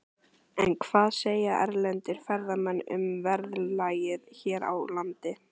En hvað segja erlendir ferðamenn um verðlagið hér á landi?